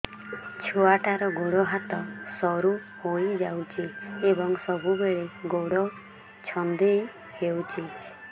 ଛୁଆଟାର ଗୋଡ଼ ହାତ ସରୁ ହୋଇଯାଇଛି ଏବଂ ସବୁବେଳେ ଗୋଡ଼ ଛଂଦେଇ ହେଉଛି